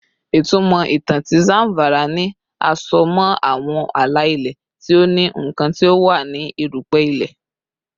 Itumọ itan ti Zamfara ni a so mọ awọn ala-ilẹ ti o ni nkan ti o wa ni erupe ile